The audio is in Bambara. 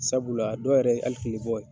Sabula dɔw yɛrɛ ye hali bɔ.